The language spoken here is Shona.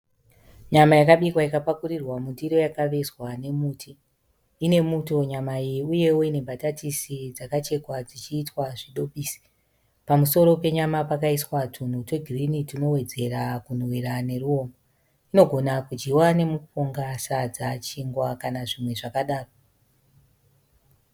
Nyama yakabikwa ikapakurirwa mundiro yakavezwa nemuti. Inemuto nyama iyi uyewo ine mbatatisi dzakachekwa dzichiitwa zvidobisi. Pamusoro penyama pakaiswa tunhu twegirini tunowedzera kunhuwira neruomba. Inogona kudyiwa nemupunga, sadza, chingwa kana zvimwe zvakadaro.